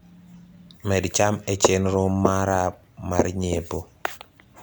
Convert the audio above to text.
med cham e chenro mara mar nyiepo